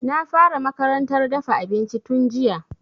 Na fara makarantar dafa abinci tun jiya